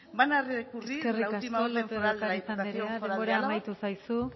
van a recurrir la última orden foral de la diputación foral de álava eskerrik asko lópez de ocariz andrea denbora amaitu zaizu